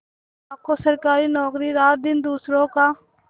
लाखों सरकारी नौकर रातदिन दूसरों का